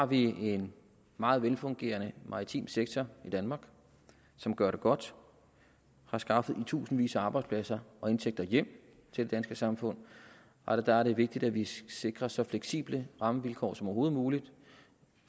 vi har en meget velfungerende maritim sektor i danmark som gør det godt og har skaffet i tusindvis af arbejdspladser og indtægter hjem til det danske samfund og der er det vigtigt at vi sikrer så fleksible rammevilkår som overhovedet muligt